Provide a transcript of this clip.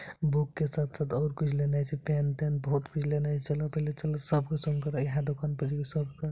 book के साथ-साथ और कुछ लेनाय छै पेन तेन बहुत कुछ लेनाय छै चला पहने चला सबके संग करा इहे दुकान पर जेबे सब के ----